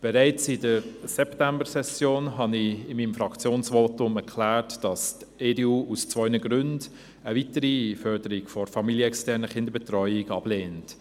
Bereits in der Septembersession habe ich in meinem Fraktionsvotum erklärt, dass die EDU eine weitere Förderung der familienexternen Kinderbetreuung aus zwei Gründen ablehnt: